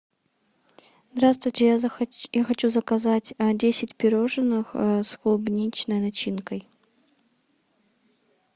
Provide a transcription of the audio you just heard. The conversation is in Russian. здравствуйте я хочу заказать десять пирожных с клубничной начинкой